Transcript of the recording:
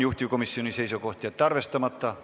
Juhtivkomisjoni seisukoht on jätta see arvestamata.